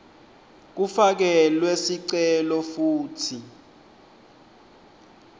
kufakelwe sicelo futsi